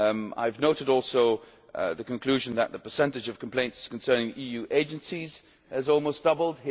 I have noted also the conclusion that the percentage of complaints concerning EU agencies has almost doubled.